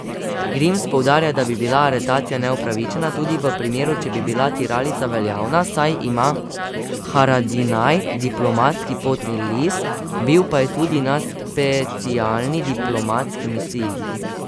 Grims poudarja, da bi bila aretacija neupravičena tudi v primeru, če bi bila tiralica veljavna, saj ima Haradinaj diplomatski potni list, bil pa je tudi na specialni diplomatski misiji.